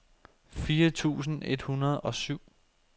fire tusind et hundrede og syv